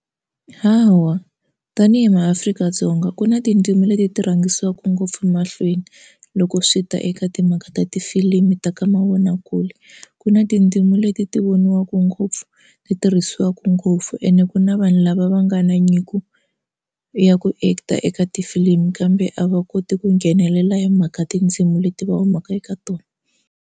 Hawa tanihi maAfrika-Dzonga ku na tindzimi leti ti rhangisiwaka ngopfu mahlweni loko swi ta eka timhaka ta tifilimu ta ka mavonakule ku na tindzimi leti ti voniwaka ku ngopfu leyi tirhisiwaka ngopfu ene ku na vanhu lava va nga na nyiko ya ku act-a eka tifilimu kambe a va koti ku nghenelela hi mhaka tindzimi leti va humaka eka tona.